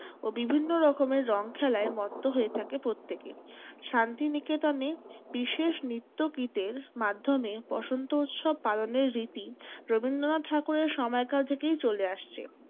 ও বিভিন্ন রকমের রং খেলায় মত্ত হয়ে থাকে প্রত্যেকে। শান্তি নিকেতনে বিশেষ নৃত্যগীতের মাধ্যমে বসন্ত উৎসব পালনের রীতি রবীন্দ্রনাথ ঠাকুরের সময়কাল থেকেই চলে আসছে।